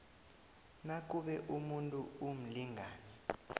nakube umuntu umlingani